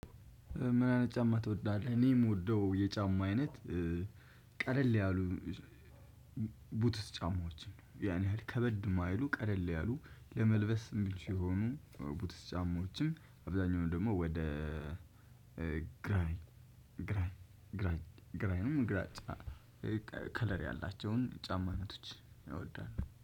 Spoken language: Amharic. ምን አይነት ጫማ ትወዳለህ? እኔ የምወደው የጫማ አይነት ቀለል ያሉ ቡትስ ጫማዎችን ነው። ያን ያህል ከበድ የማይሉ ቀለል ያሉ ለመልበስ የሚቹ የሆኑ ቡትስ ጫማዎችን አብዛኛውን ደግሞ ወደ ግሬይም ግራጫ ከለር ያላቸውን ጫማ አይነቶች እወዳለሁ።